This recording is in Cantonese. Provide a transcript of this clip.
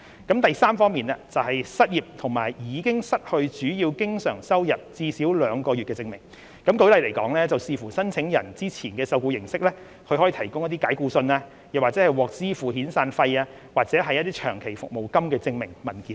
第三，是失業和已經失去主要經常收入最少兩個月的證明，舉例來說，視乎申請人之前的受僱形式，他可以提供解僱信、獲支付遣散費，或是長期服務金的證明文件等。